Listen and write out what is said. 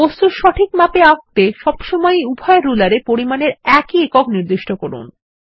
বস্তু সঠিক মাপে আঁকতে সবসময় উভয় রুলার এ পরিমাপের একই একক নির্দিষ্ট করুন